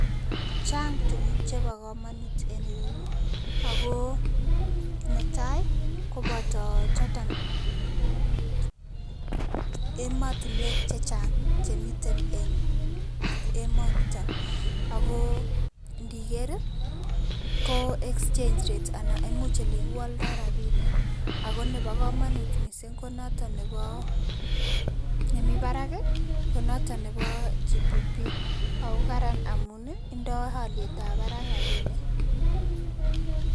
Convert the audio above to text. Chang tukuk chebo komonut en ireyu, ak ko netai ko boto choton emotinwek chechang chemiten en emoniton, ak ko indiker ko exchange rate anan imuch elekiwoldo rabinik ak ko nebo komonut mising ko noton nebo nemi barak konoton nebo GPP ak ko karan amun indo olietab barak rabinik.